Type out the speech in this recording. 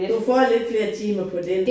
Du får lidt flere timer på den